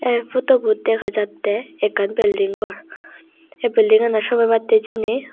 eh photobot degajattey ekkan building gor seh buildinganot somey battey jenei.